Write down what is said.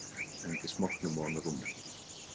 Hendir smokknum ofan á rúmið.